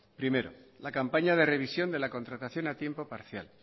primero la campaña de revisión de la contratación a tiempo parcial